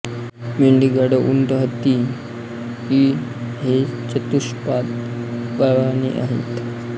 मेंढी गाढव उंट हत्ती इ हे चतुष्पाद प्राणी आहेत